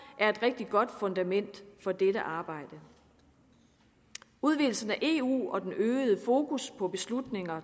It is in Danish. er et rigtig godt fundament for dette arbejde udvidelsen af eu og den øgede fokus på beslutninger